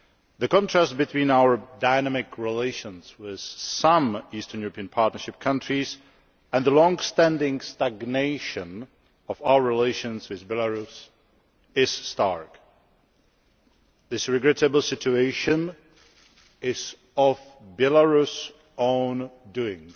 The contrast between our dynamic relations with some Eastern European Partnership countries and the longstanding stagnation of our relations with Belarus is stark. This regrettable situation is of Belarus's own doing.